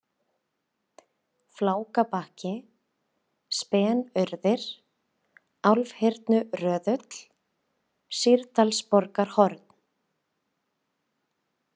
Flákabakki, Spenaurðir, Álfhyrnuröðull, Sýrdalsborgarhorn